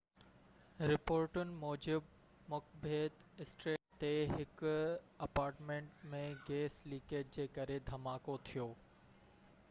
رپورٽن موجب Macbeth street تي هڪ اپارٽمنٽ ۾ گئس لڪيج جي ڪري ڌماڪو ٿيو